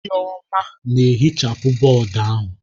Chioma na-ehichapụ bọọdụ ahụ.